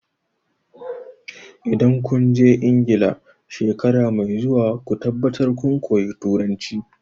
Idan kun je Ingila shekara mai zuwa ku tabbatar kun koyi Turanci!